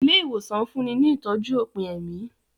Ilé ìwòsàn ń fúnni ní ìtọ́jú òpin ẹ̀mí